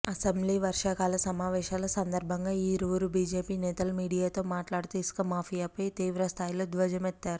assembly వర్షాకాల సమావేశాల సందర్భంగా ఈ ఇరువురు బిజెపి నేతలు మీడియాతో మాట్లాడుతూ ఇసుక మాఫియాపై తీవ్రస్థాయిలో ధ్వజమెత్తారు